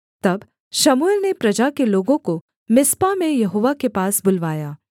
तब शमूएल ने प्रजा के लोगों को मिस्पा में यहोवा के पास बुलवाया